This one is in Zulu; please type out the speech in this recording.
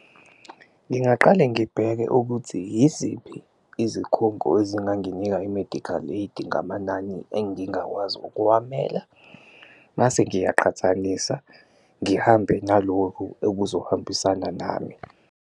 Ngingaqale ngibheke ukuthi iziphi izikhungo ezinganginika i-medical aid ngamanani engingakwazi ukuwamela, mase ngiyaqhathanisa ngihambe nalokhu okuzohambisana nami.